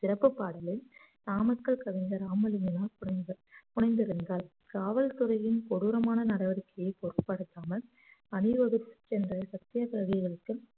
சிறப்பு பாடலில் நாமக்கல் கவிஞர் ராமலிங்கனார் புனைந்த~ புனைந்திருந்தார் காவல்துறையின் கொடூரமான நடவடிக்கையை பொருட்படுத்தாமல் அணிவகுத்துச் சென்ற சத்தியகிரகிகளுக்கு